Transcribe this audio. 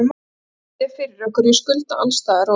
Ég get ekki séð fyrir okkur og ég skulda alls staðar og.